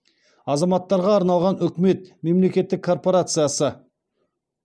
азаматтарға арналған үкімет мемлекеттік корпорациясы